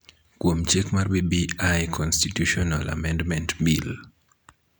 kuom chik mar BBI Constitutional Amendment Bill.